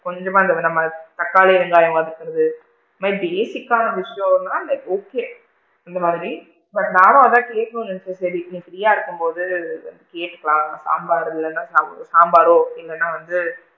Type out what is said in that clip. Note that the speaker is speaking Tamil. கொஞ்சமா இந்த நம்ம தக்காளி வெங்காயம் வதக்குறது இந்த மாதிரி basic கான விஷயம்லா like okay இந்த மாதிரி but நானும் அதான் கேக்கணும்ன்னு நினைச்சேன் சரி ப்ரீயா இருக்கும் போது கெடுக்கலாம் சாம்பார் இல்லைனா சாம்பாரோ இல்லைனா வந்து,